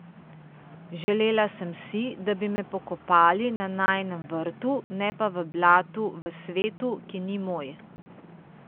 Želela sem si, da bi me pokopali na najinem vrtu, ne pa v blatu v svetu, ki ni moj.